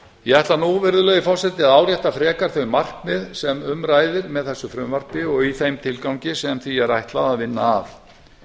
ég ætla nú virðulegi forseti að árétta frekar þau markmið sem um ræðir með þessu frumvarpi og í þeim tilgangi sem því er ætlað að vinna